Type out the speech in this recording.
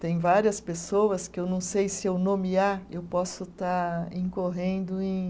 Tem várias pessoas que eu não sei se eu nomear, eu posso estar incorrendo em